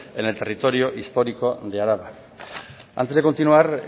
en el territorio histórico de araba antes de continuar